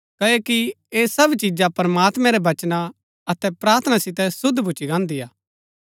क्ओकि ऐह सब चिजा प्रमात्मैं रै वचना अतै प्रार्थना सितै शुद्व भुच्‍ची गाहन्दी हा